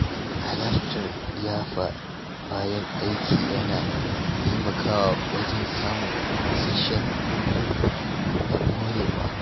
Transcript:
Halartar liyafa bayan aiki yana taimakawa wajen samun isasshen hutu da morewa.